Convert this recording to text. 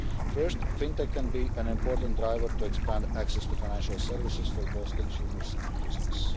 First, FinTech can be an important driver to expand access to financial services for both consumers and businesses.